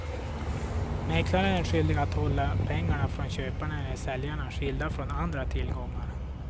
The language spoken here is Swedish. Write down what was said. Mäklaren är skyldig att hålla pengar från köpare eller säljare skilda från andra tillgångar.